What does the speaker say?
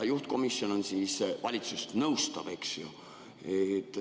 Juhtkomisjon on valitsust nõustav, eks ju.